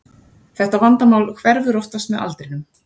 Þetta vandamál hverfur oftast með aldrinum.